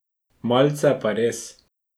Malce pa res.